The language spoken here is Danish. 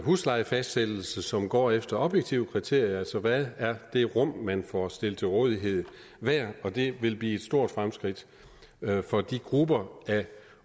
huslejefastsættelse som går efter objektive kriterier altså hvad er det rum man får stillet til rådighed hver og det vil blive et stort fremskridt for de grupper af